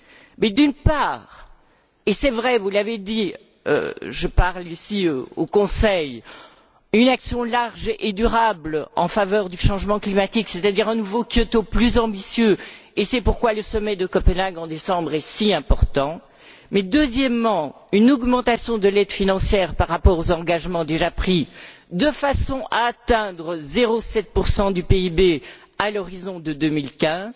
Premièrement et c'est vrai, vous l'avez dit, je m'adresse ici au Conseil une action large et durable en faveur du changement climatique, c'est à dire un nouveau Kyoto plus ambitieux, et c'est pourquoi le sommet de Copenhague en décembre est si important, deuxièmement, une augmentation de l'aide financière par rapport aux engagements déjà pris de façon à atteindre 0,7 du PIB à l'horizon de 2015